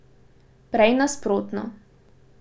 Prej nasprotno.